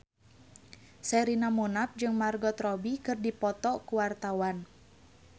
Sherina Munaf jeung Margot Robbie keur dipoto ku wartawan